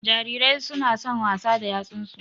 Jarirai su na son wasa da yatsun su